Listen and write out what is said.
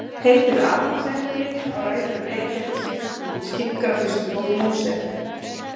Heitið Adamsepli á rætur að rekja til seinni tíma útskýringar á fyrstu bók Móse.